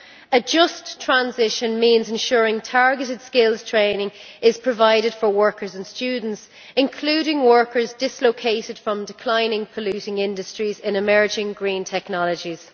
A just transition means ensuring targeted skills training is provided for workers and students, including workers dislocated from declining polluting industries in emerging green technologies.